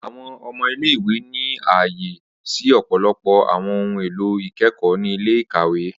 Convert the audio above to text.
Awọn ọmọ ile-iwe ni aye si ọpọlọpọ awọn ohun elo ikẹkọ ni ile-ikawe.